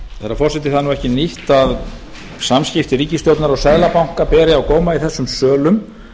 herra forseti það er ekki nýtt að samskipti ríkisstjórnar og seðlabanka beri á góma í þessum sölum